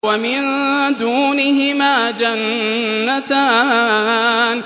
وَمِن دُونِهِمَا جَنَّتَانِ